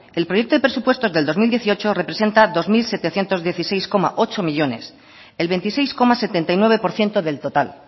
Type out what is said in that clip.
el proyecto de presupuestos del dos mil dieciocho representa dos mil setecientos dieciséis coma ocho millónes el veintiséis coma setenta y nueve por ciento del total